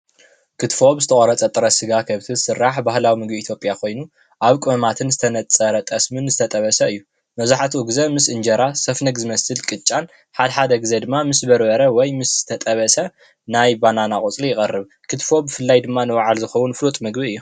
ክትፎ ብዝተቆረፀ ጥረ ስጋ ከብቲ ዝስራሕ ባህላዊ ምግቢ ኢትዮጵያ ኮይኑ አብ ቀመማትን ዝተነፀረ ጠስሚን ዝተጠበሰ እዩ። መብዛሕታኡ ግዜ ምስ እንጀራ ሰፍነግ ዝመስል ቅጫን ሓደሓደ ግዜ ድማ ምስ በርበረ ወይ ምስ ዝተጠበሰ ናይ ባናና ቆፅሊ ይቀርብ። ክትፎ ብፍላይ ድማ ንባዕል ዝክውን ፍሉጥ ምግቢ እዩ።